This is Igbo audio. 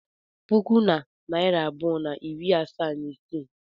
puku na narị abụọ na iri asaa na isii